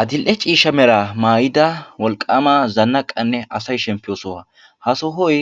Adil'e ciishsha meraa maayidda wolqaama zanaqqanne asay shemppiyo sohuwa. ha sohoy